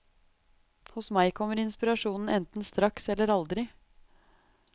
Hos meg kommer inspirasjonen enten straks eller aldri.